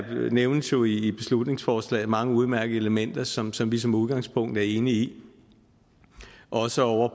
nævnes jo i beslutningsforslaget mange udmærkede elementer som som vi som udgangspunkt er enige i også ovre